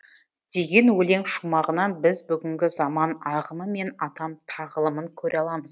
деген өлең шумағынан біз бүгінгі заман ағымы мен атам тағылымын көре аламыз